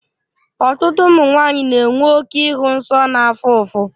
Ọtụtụ ụmụ nwanyị na-enwe oke ịhụ nsọ na-afụ ụfụ.